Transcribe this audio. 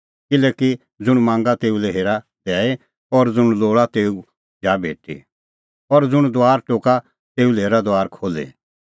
किल्हैकि ज़ुंण मांगा तेऊ लै हेरा दैई और ज़ुंण लोल़ा तेऊ जा भेटी और ज़ुंण दुआरा टोका तेऊ लै हेरा दुआर खोल्ही